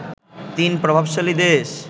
তিন প্রভাবশালী দেশ